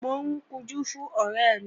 Mò ń kunjú fún ọ̀rẹ́ mi